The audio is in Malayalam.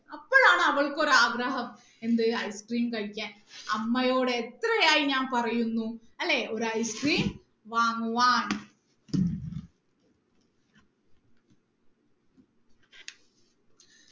അപ്പോളാണ് അവൾക്കൊരു ആഗ്രഹം എന്ത് ice cream കഴിക്കാൻ അമ്മയോട് എത്രയായി ഞാൻ പറയുന്നു അല്ലെ ഒരു ice cream വാങ്ങുവാൻ